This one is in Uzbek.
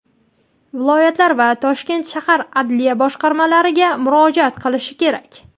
viloyatlar va Toshkent shahar adliya boshqarmalari)ga murojaat qilishi kerak.